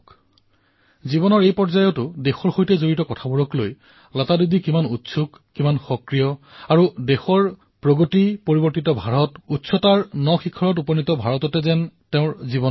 শুনক কিদৰে এই বয়সতো লতা দিদি দেশৰ সৈতে জড়িত বিভিন্ন বিষয়ৰ বাবে কিদৰে উৎসুক হৈ আছে তৎপৰ হৈ আছে আৰু জীৱনৰ সন্তুষ্টিও এয়া যে ভাৰতৰ প্ৰগতিত পৰিৱৰ্তিত ভাৰতত নতুন শক্তি লাভ কৰা ভাৰতত তেওঁ আছে